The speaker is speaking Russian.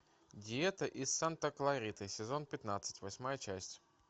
диета из санта клариты сезон пятнадцать восьмая часть